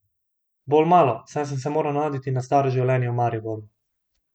Bolj malo, saj sem se moral navaditi na staro življenje v Mariboru.